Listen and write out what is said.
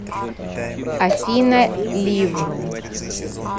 афина лив